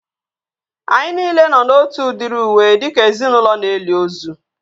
Anyị nile nọ na otu udiri uwe dịka ezinaụlọ na-eli ozu